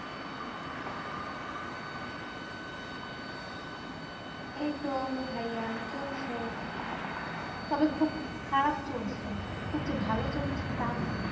এইতো ভাইয়া চলছে তবে খুব খারাপ চলছে খুব যে ভালো চলছে তা না